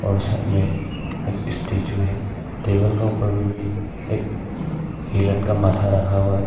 और साइड में एक स्टेच्यू है टेबल का ऊपर में भी एक हिरन का माथा रखा हुआ है।